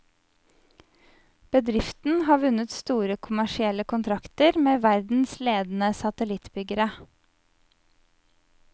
Bedriften har vunnet store kommersielle kontrakter med verdens ledende satellittbyggere.